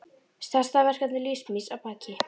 Stærsta verkefni lífs míns að baki.